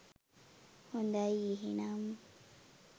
හොදයි එහෙනම්